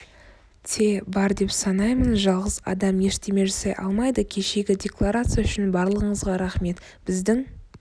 те бар деп санаймын жалғыз адам ештеме жасай алмайды кешегі декларация үшін барлығыңызға рақмет біздің